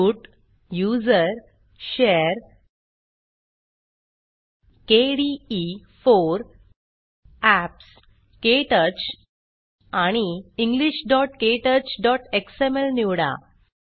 root usr share kde4 apps क्टच आणि englishktouchएक्सएमएल निवडा